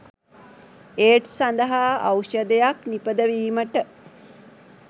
AIDS සඳහා ෙඖෂධයක් නිපදවීමට